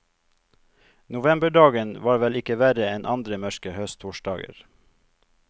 Novemberdagen var vel ikke verre enn andre mørke høsttorsdager.